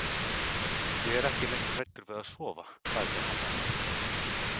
Ég er ekki lengur hræddur við að sofa, sagði hann henni.